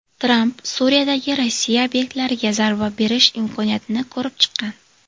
Tramp Suriyadagi Rossiya obyektlariga zarba berish imkoniyatini ko‘rib chiqqan.